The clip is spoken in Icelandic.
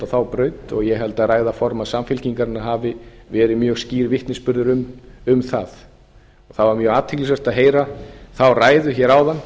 þá braut og ég held að ræða formanns samfylkingarinnar hafi verið mjög skýr vitnisburður um það það var mjög athyglisvert að heyra þá ræðu hér áðan